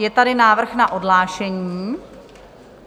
Je tady návrh na odhlášení.